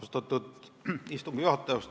Austatud istungi juhataja!